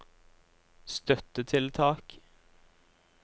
støttetiltak